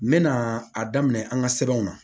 N mɛna a daminɛ an ga sɛbɛnw na